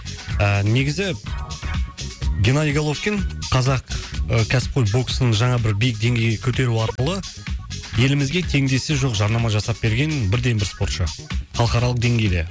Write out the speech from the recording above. ыыы негізі геннадий головкин қазақ кәсіпқой боксын жаңа бір биік деңгейге көтеру арқылы елімізге теңдесі жоқ жарнама жасап берген бірден бір спортшы халықаралық деңгейде